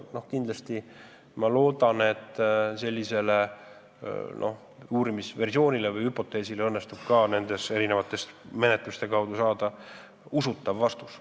Ma väga loodan, et ka sellele küsimusele õnnestub nende erinevate menetluste käigus saada usutav vastus.